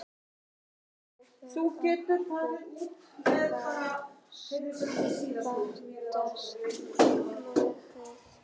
Hvar hefur okkur fatast flugið?